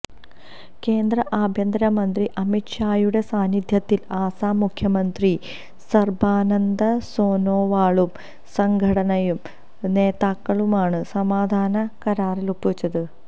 കേന്ദ്ര ആഭ്യന്തര മന്ത്രി അമിത് ഷായുടെ സാന്നിധ്യത്തില് ആസാം മുഖ്യമന്ത്രി സര്ബാനന്ദ സോനോവാളും സംഘടനയുടെ നേതാക്കളുമാണ് സമാധാന കരാറില് ഒപ്പുവച്ചത്